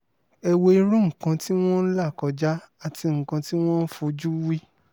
ẹ wo irú nǹkan tí wọ́n ń là kọjá àti nǹkan tí wọ́n ń fojú wí